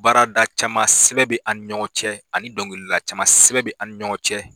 Baarada caman sɛbɛn be an ni ɲɔgɔn cɛ ani dɔnkilila caman sɛbɛn be an ni ɲɔgɔn cɛ.